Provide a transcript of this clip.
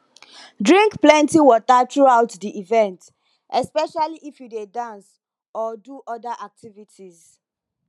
drink plenty water throughout di event especially if you dey dance or do oda activities